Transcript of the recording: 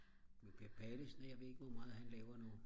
men Per Pallesen jeg ved ikke hvor meget han laver nu